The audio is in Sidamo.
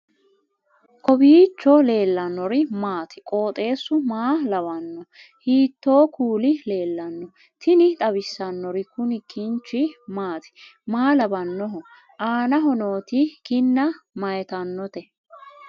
kowiicho leellannori maati ? qooxeessu maa lawaanno ? hiitoo kuuli leellanno ? tini xawissannori kuni kinchi maati maa lawannoho aanaho nooti kinna mayitannote